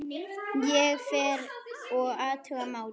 Ég fer og athuga málið.